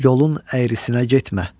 Yolun əyrisinə getmə.